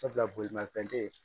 Sabula bolimafɛn te yen